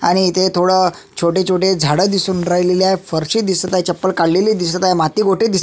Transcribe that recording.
आणि इथे थोड छोटे छोटे झाड दिसून राहिलेले आहे फरशी दिसत आहे चपल काढलेले दिसत आहे माती गोटे दिस--